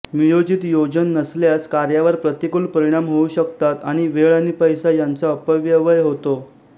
नियोजित योजन नसल्यास कार्यावर प्रतिकूल परिणाम होऊ शकतात आणि वेळ आणि पैसा यांचा अपव्यवय होतो